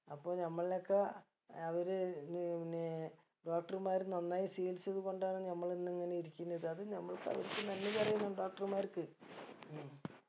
അപ്പൊ നമ്മൾനെ ഒക്ക അവര് ഏർ പിന്നെ doctor മാര് നന്നായി ചികിൽസിക്കുന്നത് കൊണ്ടാണ് നമ്മള് ഇന്നിങ്ങനെ ഇരിക്കുന്നത് അത് നമ്മൾക്ക് അവർക്ക് നന്ദി പറയണം doctor മാർക്ക്